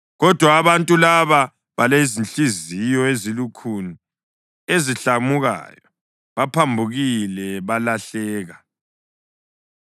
Kodwa abantu laba balezinhliziyo ezilukhuni ezihlamukayo, baphambukile, balahleka.